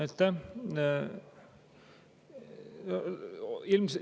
Aitäh!